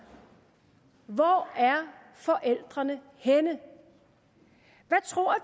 hvor er forældrene henne hvad tror